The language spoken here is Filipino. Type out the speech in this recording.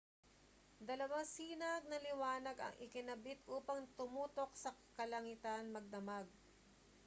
dalawang sinag ng liwanag ang ikinabit upang tumutok sa kalangitan magdamag